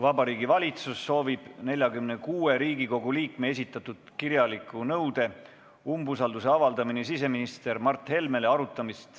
Vabariigi Valitsus soovib, et tänasel istungil arutataks 46 Riigikogu liikme esitatud kirjalikku nõuet avaldada umbusaldust siseminister Mart Helmele.